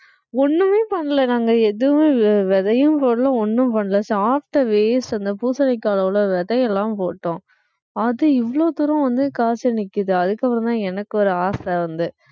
ஒண்ணுமே பண்ணலை நாங்க எதுவும் விதையும் போடலை ஒண்ணும் பண்ணலை சாப்பிட்ட waste அந்த பூசணிக்காய் அவ்வளவு விதை எல்லாம் போட்டோம் அது இவ்வளவு தூரம் வந்து காய்ச்சு நிக்குது அதுக்கப்புறம்தான் எனக்கு ஒரு ஆசை வந்து